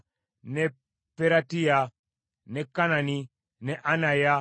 ne Peratiya, ne Kanani, ne Anaya,